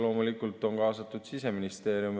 Loomulikult on kaasatud Siseministeerium.